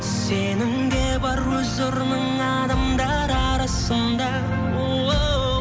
сенің де бар өз орның адамдар арасында оу